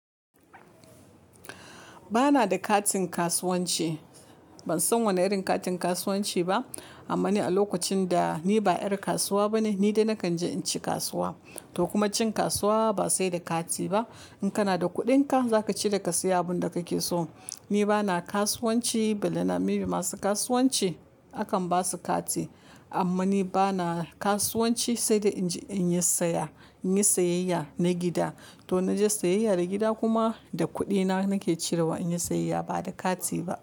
Ba na da katin kasuwanci. Ban san wane irin katin kasuwanci ba. Amma ni a lokacin da ni ba ƴar kasuwa bane, ni dai nakan je in ci kasuwa. To kuma cin kasuwa ba sai da kati ba. In kana da kuɗinka, za ka ci da ka siya abin da kake so. Ni ba na kasuwanci, balle na mibi masu kasuwanci. Akan ba su kati, amma ni ba na kasuwanci sai da in yi saya, in yi sayayya na gida. To na je sayayya da gida kuma da kuɗina nake cirewa in yi sayayya ba da kati ba.